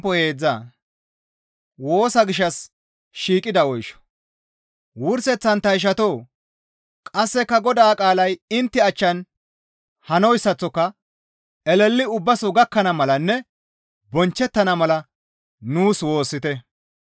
Wurseththan ta ishatoo! Qasseka Godaa qaalay intte achchan hanoyssaththoka eleli ubbaso gakkana malanne bonchchettana mala nuus woossite.